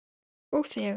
Og þegar